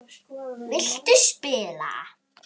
Viltu spila?